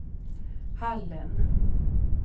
Hallen